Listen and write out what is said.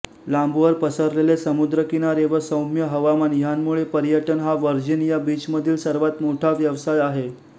लांबवर पसरलेले समुद्रकिनारे व सौम्य हवामान ह्यांमुळे पर्यटन हा व्हर्जिनिया बीचमधील सर्वात मोठा व्यवसाय आहे